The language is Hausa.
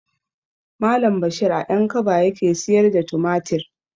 Malam bashir a ƴankaba yake siyar da tumatir